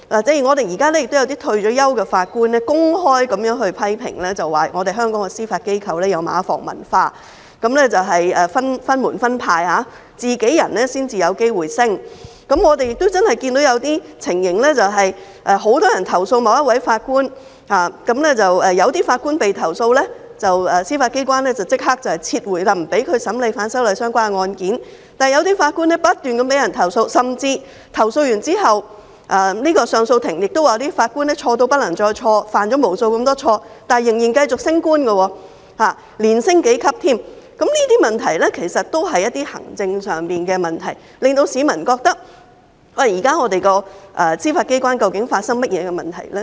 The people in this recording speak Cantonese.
正如我們現時也有一些已退休的法官公開批評香港的司法機構有"馬房文化"，分門分派，"自己人"才有機會晉升，而我們亦真的看到有些情況是，很多人投訴法官，有法官被投訴後，司法機構便立即不讓他審理與反修例有關的案件，但有些法官不斷被投訴，甚至在接獲投訴後，上訴法庭亦表示這些法官錯得不能再錯，犯了無數的錯，卻仍然繼續升職，甚至連升數級，這些其實均是行政上的問題，令市民質疑現時司法機構究竟發生了甚麼問題。